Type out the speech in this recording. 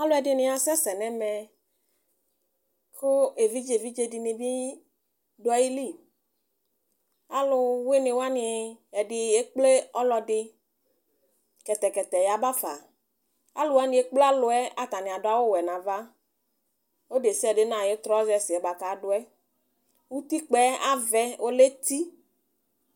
alʋɛdini asɛsɛ nʋ ɛmɛ kʋ ɛvidzɛ dinibi dʋali, alʋwini wani ɛdi ɛkplɛ ɔlɔdi kɛtɛkɛtɛ yabaƒa, alʋ wani ɛkplɛ alʋɛ atani adʋ awʋ wɛ nʋ aɣa, ɔlʋdɛsiadɛ nʋ ayi trousers kʋ adʋ, ʋtikpaɛ avɛ ɔlɛ ɛti